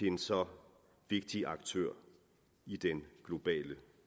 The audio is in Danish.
en så vigtig aktør i den globale